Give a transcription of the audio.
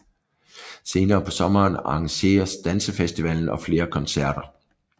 Senere på sommeren arrangeres dansefestivalen og flere koncerter